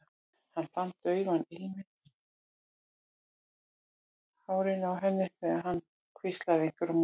Hann fann daufan ilminn úr hárinu á henni þegar hann hvíslaði einhverju á móti.